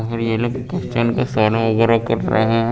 वगैरा कट रहे हैं।